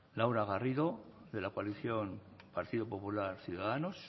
laura garrido de la coalición partido popular ciudadanos